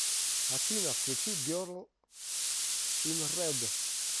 афина включи герл ин рэд